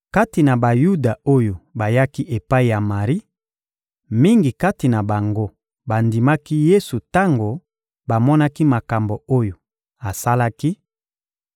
Kati na Bayuda oyo bayaki epai ya Mari, mingi kati na bango bandimaki Yesu tango bamonaki makambo oyo asalaki;